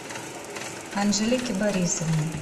анжелике борисовне